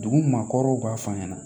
Dugu maakɔrɔw b'a fɔ a ɲɛna